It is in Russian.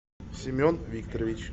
семен викторович